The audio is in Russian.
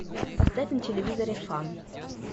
поставь на телевизоре фан